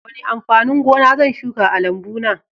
Wane amfanin gona zan shuka a lambuna?